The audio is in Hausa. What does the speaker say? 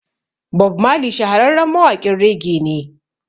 Bob Marley shahararren mawaƙin rege ne